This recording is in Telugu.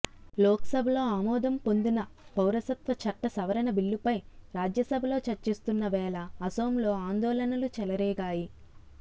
లోక్సభలో ఆమోదం పొందిన పౌరసత్వ చట్ట సవరణ బిల్లుపై రాజ్యసభలో చర్చిస్తున్న వేళ అసోంలో ఆందోళనలు చెలరేగాయి